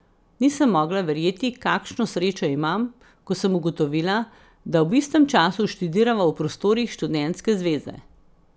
Nisem mogla verjeti, kakšno srečo imam, ko sem ugotovila, da ob istem času študirava v prostorih študentske zveze.